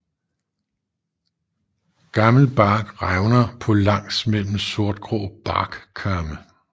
Gammel bark revner på langs mellem sortgrå barkkamme